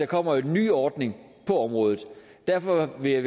kommer en ny ordning på området derfor vil jeg